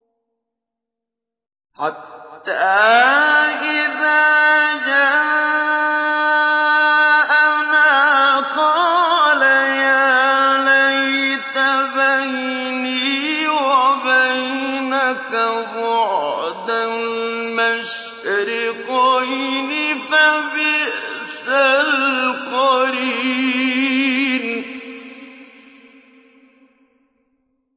حَتَّىٰ إِذَا جَاءَنَا قَالَ يَا لَيْتَ بَيْنِي وَبَيْنَكَ بُعْدَ الْمَشْرِقَيْنِ فَبِئْسَ الْقَرِينُ